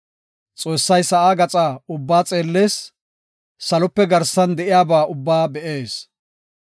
Xoossay sa7aa gaxa ubbaa xeellees; salope garsan de7iyaba ubbaa be7ees.